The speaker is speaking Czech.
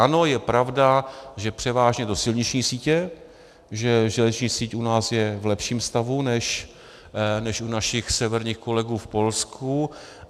Ano, je pravda, že převážně do silniční sítě, že železniční síť u nás je v lepším stavu než u našich severních kolegů v Polsku.